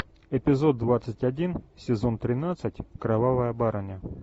эпизод двадцать один сезон тринадцать кровавая барыня